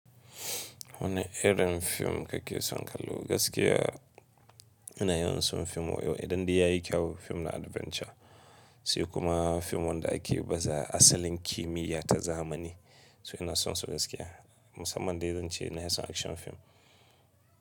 Wane irin fim kake son kallo? Gaskiya ina yawan son fim wan idan dai yayi kyau. Fim na adventure sai kuma fim wanda ake baza asalin kimiyya ta zamani. So ina son su gaskiya. Musamman dai zan ce ina son action fim.